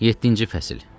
Yeddinci fəsil.